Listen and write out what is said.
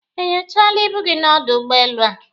E nyochaala ibu gị n'ọdụ ụgbọelu a?